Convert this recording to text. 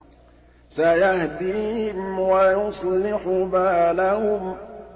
سَيَهْدِيهِمْ وَيُصْلِحُ بَالَهُمْ